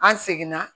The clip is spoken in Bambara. An seginna